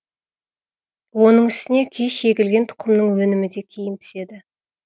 оның үстіне кеш егілген тұқымның өнімі де кейін піседі